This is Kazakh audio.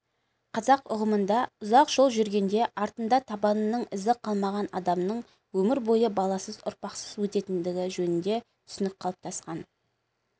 қазақ ұғымында ұзақ жол жүргенде артында табанының ізі қалмаған адамның өмір бойы баласыз ұрпақсыз өтетіндігі жөнінде түсінік қалыптасқан